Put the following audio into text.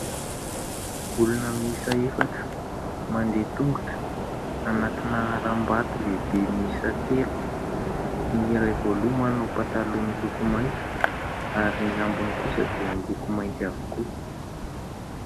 Olona mihisa efatra mandeha tongotra anantina haram-bato lehibe mihisa telo ny iray voaloha manao mpataloha miloko maitso ary ny ambiny kosa dia miloko mainty avokoa.